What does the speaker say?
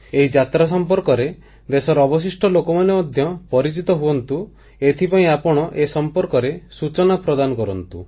ଏହି ଯାତ୍ରା ସମ୍ପର୍କରେ ଦେଶର ଅବଶିଷ୍ଟ ଲୋକମାନେ ମଧ୍ୟ ପରିଚିତ ହୁଅନ୍ତୁ ଏଥିପାଇଁ ଆପଣ ଏ ସମ୍ପର୍କରେ ସୂଚନା ପ୍ରଦାନ କରନ୍ତୁ